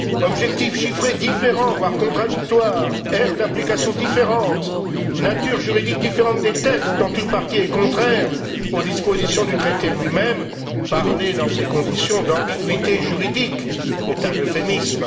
Objectifs chiffrés différents, voire contradictoires, aire d'application différente, nature juridique différente des textes dont une partie est contraire aux dispositions du traité lui même. Parler dans ces conditions d'ambiguïté juridique est un euphémisme.